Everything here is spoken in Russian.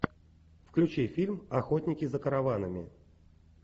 включи фильм охотники за караванами